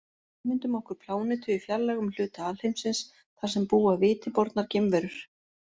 Ímyndum okkur plánetu í fjarlægum hluta alheimsins þar sem búa viti bornar geimverur.